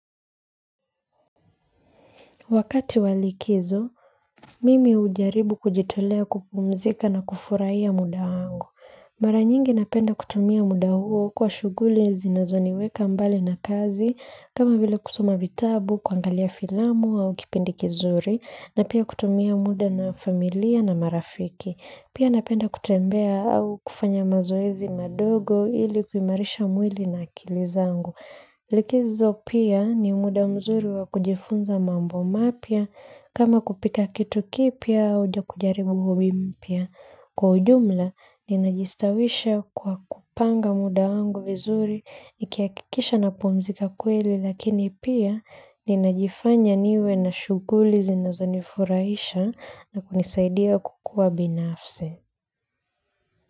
Wakati wa likizo, mimi hujaribu kujitolea kupumzika na kufurahia muda wangu. Mara nyingi napenda kutumia muda huo kwa shughuli zinazoniweka mbali na kazi, kama vile kusoma vitabu, kuangalia filamu au kipindi kizuri, na pia kutumia muda na familia na marafiki. Pia napenda kutembea au kufanya mazoezi madogo ili kuimarisha mwili na akili zangu. Likizo pia ni muda mzuri wa kujifunza mambo mapya kama kupika kitu kipya au kujaribu huwimpia. Kwa ujumla ninajistawisha kwa kupanga muda wangu vizuri nikihakikisha napumzika kweli lakini pia ninajifanya niwe na shughuli zinazo nifurahisha na kunisaidia kukuwa binafsi.